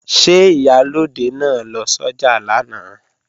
Ṣé Ìyálóde náà lọ sọ́jà lánàá?